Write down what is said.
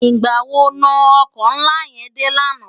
Nigbá wó no òkò nlá yèn dé làná?